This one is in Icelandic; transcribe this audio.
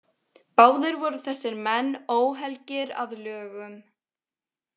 Báðir voru þessir menn óhelgir að lögum.